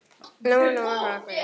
Lóa-Lóa hrökk við.